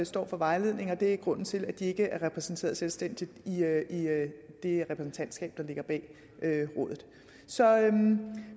står for vejledningen og det er grunden til at de ikke er repræsenteret selvstændigt i det repræsentantskab der ligger bag rådet så